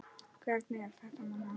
Hvernig er þetta nám?